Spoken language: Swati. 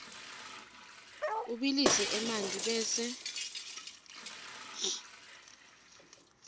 ubilise emanti bese